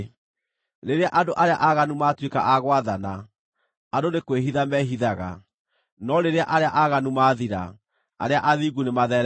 Rĩrĩa andũ arĩa aaganu maatuĩka a gwathana, andũ nĩ kwĩhitha mehithaga; no rĩrĩa arĩa aaganu mathira, arĩa athingu nĩmatheeremaga.